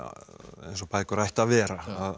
eins og bækur ættu að vera